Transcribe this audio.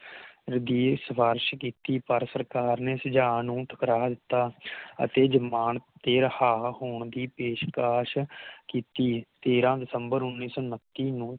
ਰਿਕੇਸ਼ ਸਿਫਾਰਿਸ਼ ਪਰ ਸਰਕਾਰ ਨੇ ਸੁਝਾਅ ਨੂੰ ਠੁਕਰਾ ਦਿਤਾ ਅਤੇ ਜਮਾਨਤ ਤੇ ਰਿਹਾਅ ਹੋਣ ਦੀ ਪੇਸ਼ਕਸ਼ ਕੀਤੀ ਤੇਰ੍ਹ ਦਸੰਬਰ ਉਨ੍ਹੀ ਸੌ ਉੱਨਤੀ ਨੂੰ